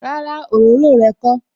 Rárá, òróró rẹ kó